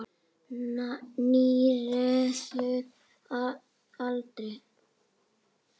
Níræður að aldri.